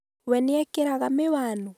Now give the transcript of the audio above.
we nĩekĩraga mĩwanu?